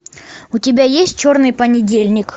у тебя есть черный понедельник